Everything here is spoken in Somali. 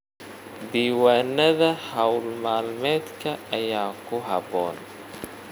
Diiwaanada hawl maalmeedka ayaa ku habboon.